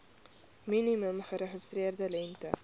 minimum geregistreerde lengte